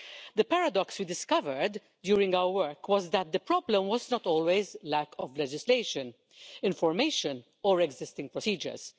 The paradox we discovered during our work was that the problem was not always a lack of legislation, information or existing procedures.